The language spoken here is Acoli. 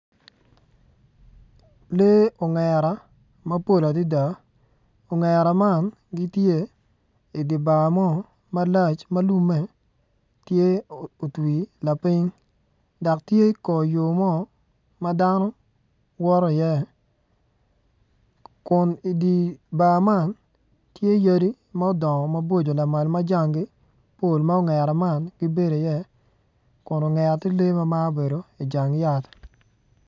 Lee ongara mapol adada ongara man gitye idibar mo malac malume tye otwi lapiny dok tye kor yo mo madano woto i ye kun idi bar man tye yadi modongo maboco ma jangi pol ma ongera man bedo i ye kun ongera tye ni lim ma obedo i jang yat.